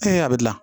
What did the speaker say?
a bɛ gilan